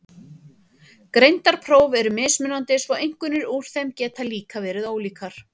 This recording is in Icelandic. Greindarpróf eru mismunandi svo einkunnir úr þeim geta líka verið ólíkar.